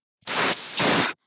Búið sé að hreinsa borðið.